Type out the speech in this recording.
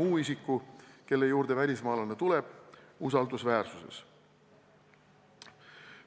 muu isiku, kelle juurde välismaalane tuleb, usaldusväärsuses.